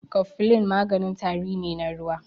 Kofilin maganin tari ne na ruwa.